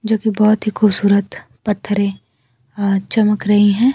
जोकि बहुत ही खूबसूरत पत्थरे अ चमक रही हैं।